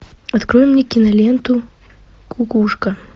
открой мне киноленту кукушка